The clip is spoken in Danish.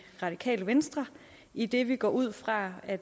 radikale venstre idet vi går ud fra at